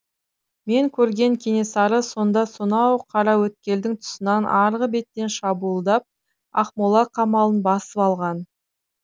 мен көрген кенесары сонда сонау қараөткелдің тұсынан арғы беттен шабуылдап ақмола қамалын басып алған